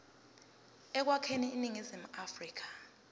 ekwakheni iningizimu afrika